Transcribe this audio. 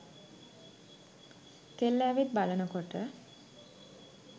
කෙල්ල ඇවිත් බලනකොට